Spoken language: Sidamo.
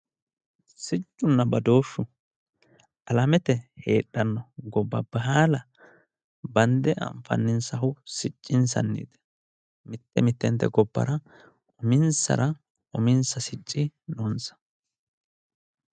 siccunna badooshshu alamete heedhanno gobba baala bande anfanninsahu siccinsanniiti mitte mittente gobbara uminsara uminsa sicci noonsa.